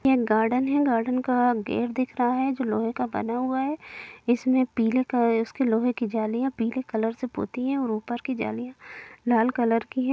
ये गार्डन है गार्डन का गेट दिख रहा है जो लोहे का बना हुआ है| इसमें पीले क-अ उसके लोहे के जालिया पीले कलर से पोती है और ऊपर की जालियां लाल कलर की है|